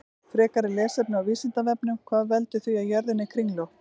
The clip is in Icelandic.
Frekara lesefni á Vísindavefnum: Hvað veldur því að jörðin er kringlótt?